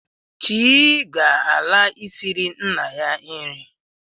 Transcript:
Chii ga-ala, isiri nna ya nri